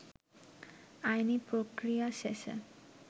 আইনী প্রক্রিয়া শেষে